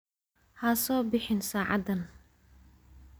Ha soo bixin saacadan.